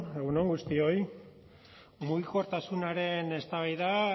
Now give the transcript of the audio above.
egun on guztioi mugikortasunaren eztabaida